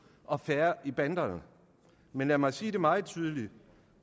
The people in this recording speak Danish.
og færre i banderne men lad mig sige det meget tydeligt